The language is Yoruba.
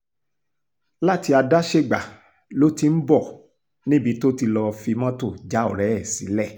láti adáṣègbà lo ti ń bọ̀ níbi tó ti lọ́ọ́ fi mọ́tò já ọ̀rẹ́ ẹ sílẹ̀